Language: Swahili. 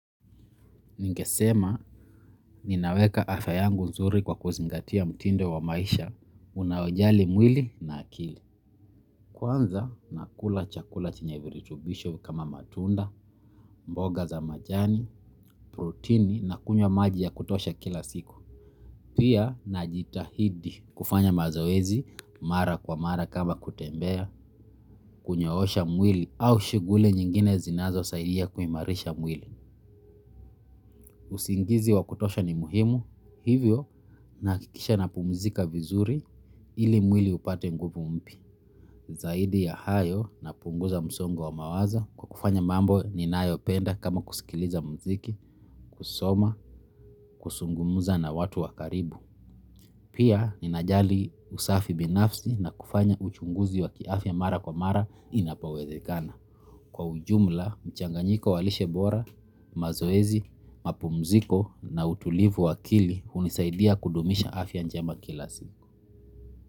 Ningesema, ninaweka afya yangu nzuri kwa kuzingatia mtindo wa maisha, unaojali mwili na akili. Kwanza, nakula chakula chenye viritubisho kama matunda, mboga za majani, protini na kunywa maji ya kutosha kila siku. Pia, najitahidi kufanya mazoezi, mara kwa mara kama kutembea, kunyoosha mwili au shighuli nyingine zinazo saidia kuimarisha mwili. Usingizi wa kutosha ni muhimu hivyo nahakikisha napumuzika vizuri ili mwili upate nguvu mpya zaidi ya hayo, napunguza msongo wa mawazo kwa kufanya mambo ninayoyapenda kama kusikiliza muziki, kusoma, kuzungumza na watu wa karibu. Pia ninajali usafi binafsi na kufanya uchunguzi wa kiafya mara kwa mara inapowezekana kwa ujumla, mchanganyiko wa lishe bora, mazoezi, na mapumziko hunisaidia kudumisha afya njema kila siku.